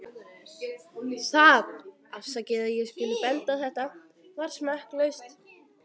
Það- afsakið að ég skuli benda á þetta- var smekklaust.